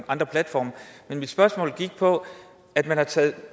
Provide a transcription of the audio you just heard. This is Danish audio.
andre platforme men mit spørgsmål gik på at man har taget